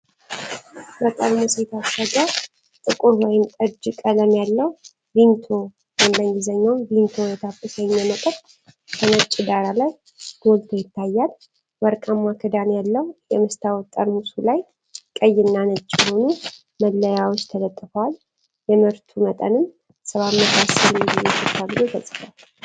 በጠርሙስ የታሸገ ጥቁር ወይን ጠጅ ቀለም ያለው ቪምቶ (VIMTO) የተሰኘ መጠጥ በነጭ ዳራ ላይ ጎልቶ ይታያል። ወርቃማ ክዳን ያለው የመስታወት ጠርሙሱ ላይ ቀይ እና ነጭ የሆኑ መለያዎች ተለጥፈዋል፤ የምርቱ መጠንም 710 ሚሊ ሊትር ተብሎ ተጽፏል።